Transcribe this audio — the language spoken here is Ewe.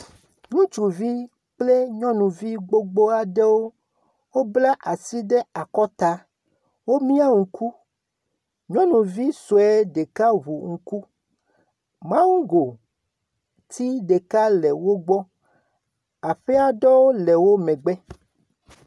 Ŋutsuvi kple nyɔnuvi gbogboa aɖewo, wobla asi ɖe akɔta. Wo mia ŋku, nyunuvi sue ɖeka ŋu ŋku. Mango ti ɖeka le wogbɔ. Aƒea ɖe le wò megbe.